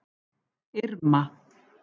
Irma